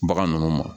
Bagan ninnu ma